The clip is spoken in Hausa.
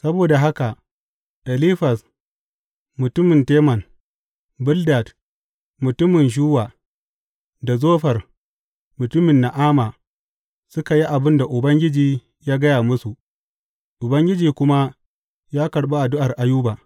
Saboda haka Elifaz mutumin Teman, Bildad mutumin Shuwa da Zofar mutumin Na’ama, suka yi abin da Ubangiji ya gaya masu; Ubangiji kuma ya karɓi addu’ar Ayuba.